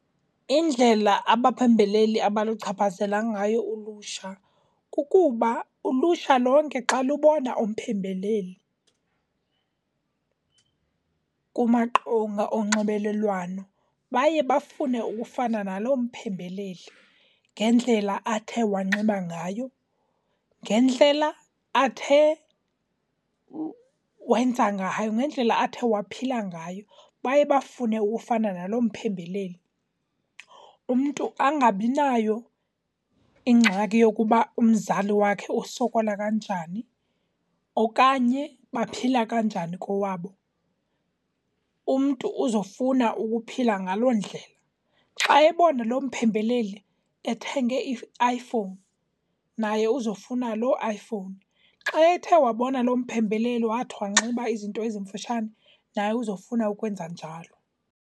Indlela abaphembeleli abaluchaphazela ngayo ulutsha kukuba ulutsha lonke xa lubona umphembeleli kumaqonga onxibelelwano baye bafune ukufana naloo mphembeleli ngendlela athe wanxiba ngayo, ngendlela athe wanxiba ngayo, ngendlela athe wenza ngayo, ngendlela athe waphila ngayo. Baye bafune ukufana naloo mphembeleli, umntu angabinayo ingxaki yokuba umzali wakhe usokola kanjani okanye baphila kanjani kowabo, umntu uzofuna ukuphila ngaloo ndlela. Xa ebona loo mphembeleli ethenge i-iPhone, naye uzofuna loo iPhone. Xa ethe wabona loo mphembeleli wathi wanxiba izinto ezimfutshane, naye uzofuna ukwenza njalo.